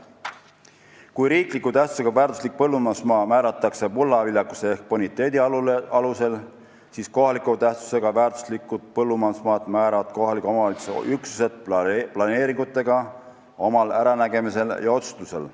Kui riikliku tähtsusega väärtuslik põllumajandusmaa määratakse mulla viljakuse ehk boniteedi alusel, siis kohaliku tähtsusega väärtuslikku põllumajandusmaad määravad kohaliku omavalitsuse üksused planeeringutega oma äranägemisel ja otsustusel.